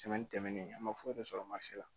tɛmɛnen an ma foyi de sɔrɔ mansin na